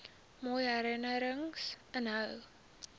mooi herinnerings inhou